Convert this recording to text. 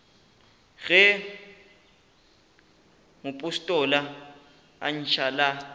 ge mopostola a ntšha la